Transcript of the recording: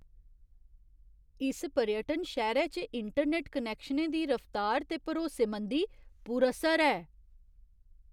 इस पर्यटन शैह्‌रे च इंटरनैट्ट कनैक्शनें दी रफ्तार ते भरोसेमंदी पुरअसर ऐ।